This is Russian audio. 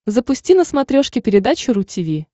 запусти на смотрешке передачу ру ти ви